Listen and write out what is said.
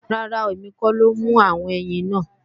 Rárá, èmi kọ́ ló mú àwọn ẹyin náà